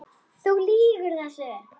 Þú lýgur þessu!